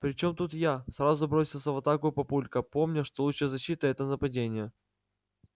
при чём тут я сразу бросился в атаку папулька помня что лучшая защита это нападение